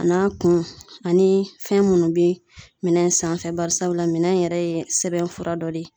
A n'a kun ani fɛn munnu be minɛ in sanfɛ bari sabula minɛ in yɛrɛ ye sɛbɛnfura dɔ de ye